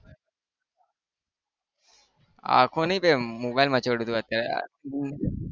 આંખો નહિ બે મોબાઇલ મચોળું છુ અત્યારે